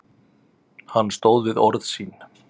Hann stóð við orð sín.